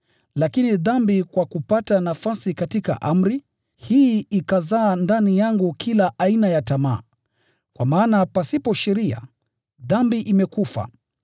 Lakini dhambi kwa kupata nafasi katika amri, hii ikazaa ndani yangu kila aina ya tamaa. Kwa maana pasipo sheria, dhambi imekufa.